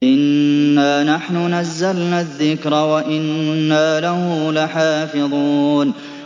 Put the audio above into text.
إِنَّا نَحْنُ نَزَّلْنَا الذِّكْرَ وَإِنَّا لَهُ لَحَافِظُونَ